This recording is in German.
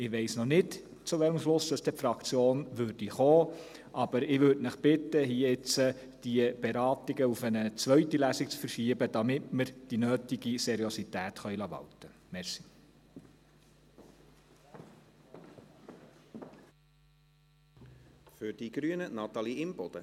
Ich weiss noch nicht, zu welchem Schluss die Fraktion dann kommen würde, aber ich würde Sie jetzt bitten, die Beratungen auf eine zweite Lesung zu verschieben, damit wir die nötige Seriosität walten lassen können.